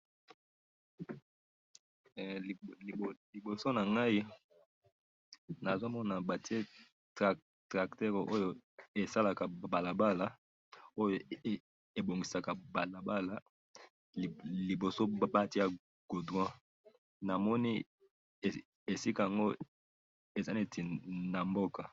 Liboso na Ngai, nazomona batie tracteur Oyo esalaka balabala, Oyo ebongisaka balabala, liboso batia goudron. Namoni esika ango ezali neti na mboka.